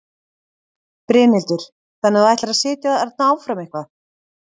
Brynhildur: Þannig að þú ætlar að sitja þarna áfram eitthvað?